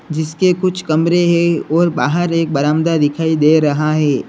जिसके कुछ कमरे हैं और बाहर एक बरामदा दिखाई दे रहा है।